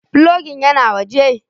Filogin yana waje.